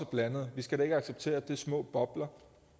blandede vi skal da ikke acceptere at det er små bobler